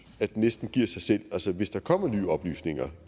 det næsten giver sig selv hvis der kommer nye oplysninger